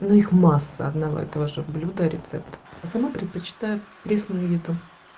масса одного этого же блюдо рецепт сама предпочитаю пресны